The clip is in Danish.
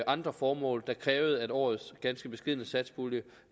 andre formål der krævede at årets ganske beskedne satspulje